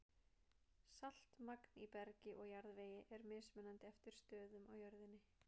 Saltmagn í bergi og jarðvegi er mismunandi eftir stöðum á jörðinni.